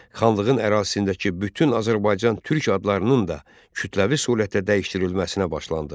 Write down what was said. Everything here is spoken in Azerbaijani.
Xanlığın ərazisindəki bütün Azərbaycan, türk adlarının da kütləvi surətdə dəyişdirilməsinə başlandı.